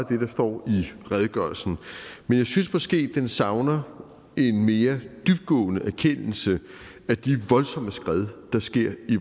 det der står i redegørelsen men jeg synes måske den savner en mere dybtgående erkendelse af de voldsomme skred der sker i